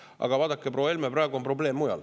Aga vaadake, proua Helme, praegu on probleem mujal.